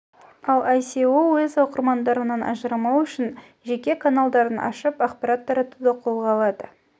ал іе іасіа іе өз оқырмандарынан ажырамау үшін жеке каналдарын ашып ақпарат таратуды қолға алды